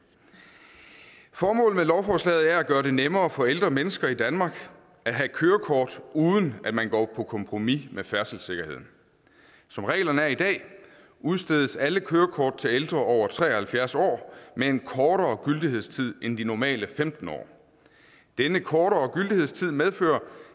formålet med lovforslaget er at gøre det nemmere for ældre mennesker i danmark at have kørekort uden at man går på kompromis med færdselssikkerheden som reglerne er i dag udstedes alle kørekort til ældre over tre og halvfjerds år med en kortere gyldighedstid end de normale femten år denne kortere gyldighedstid medfører